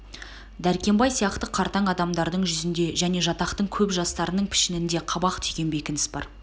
дәркембай сияқты қартаң адамдардың жүзінде және жатақтың көп жастарының пішінінде қабақ түйген бекініс бар